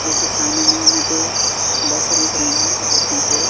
जोकि सामने में हमें दो बसे दिख रही है जो इसमें से--